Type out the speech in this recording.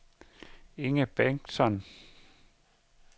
Inger Bengtsson